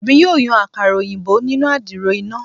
Emi yoo yan akara oyinbo ninu adiro ina